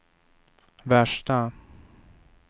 värsta